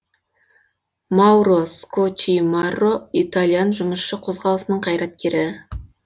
мауро скоччимарро итальян жұмысшы қозғалысының қайраткері